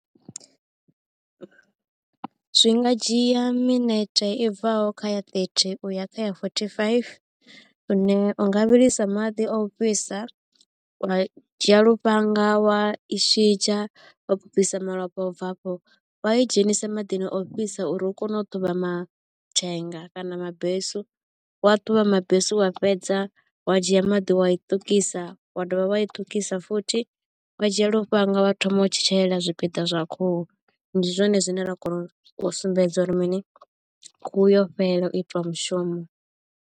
Zwi nga dzhia minete i bvaho kha ya thirty uya kha ya forty faifi lune u nga vhilisa maḓi o fhisa wa dzhia lufhanga wa i shidzha wa bvisa malofha. Ubva hafho wa idzhenisa maḓini ofhisa uri u kone u ṱhuvha mathenga kana mabesu wa ṱhuvha mabesu wa fhedza wa dzhia maḓi wa i ṱukisa wa dovha wa i ṱukisa futhi wa dzhia lufhanga wa thoma u tshetshelela zwipiḓa zwa khuhu ndi zwone zwine ra kona u sumbedza uri mini khuhu yo fhela u itiwa mushumo.